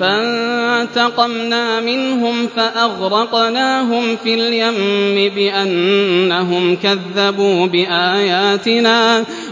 فَانتَقَمْنَا مِنْهُمْ فَأَغْرَقْنَاهُمْ فِي الْيَمِّ